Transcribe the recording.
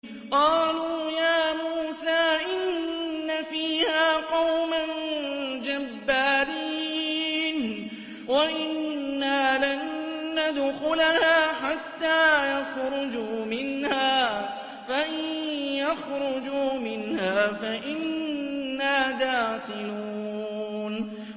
قَالُوا يَا مُوسَىٰ إِنَّ فِيهَا قَوْمًا جَبَّارِينَ وَإِنَّا لَن نَّدْخُلَهَا حَتَّىٰ يَخْرُجُوا مِنْهَا فَإِن يَخْرُجُوا مِنْهَا فَإِنَّا دَاخِلُونَ